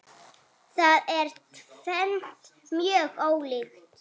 Það er tvennt mjög ólíkt.